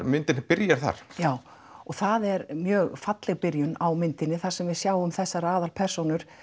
myndin byrjar þar já og það er mjög falleg byrjun á myndinni þar sem við sjáum þessar aðalpersónur